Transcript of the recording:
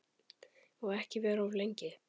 Og ekki vera of lengi.